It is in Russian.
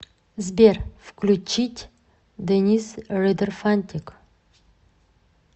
сбер включить денис ридер фантик